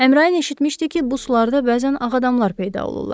Əmrayin eşitmişdi ki, bu sularda bəzən ağ adamlar peyda olurlar.